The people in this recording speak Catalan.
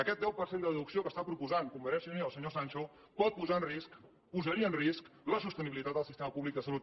aquest deu per cent de deducció que està proposant convergència i unió senyor sancho pot posar en risc posaria en risc la sostenibilitat del sistema públic de salut